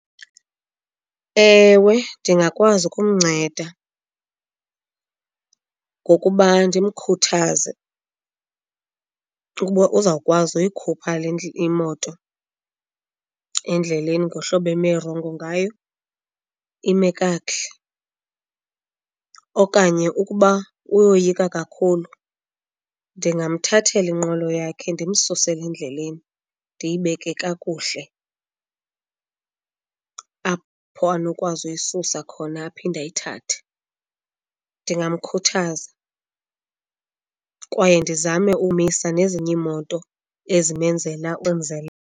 Ewe, ndingakwazi ukumnceda ngokuba ndimkhuthaze ukuba uzawukwazi uyikhupha le imoto endleleni ngohlobo eme rongo ngayo ime kakuhle. Okanye ukuba uyoyika kakhulu ndingamthathela inqwelo yakhe ndimsusele endleleni, ndiyibeke kakuhle apho anokwazi uyisusa khona aphinde ayithathe. Ndingamkhuthaza kwaye ndizame umisa nezinye iimoto ezimenzela .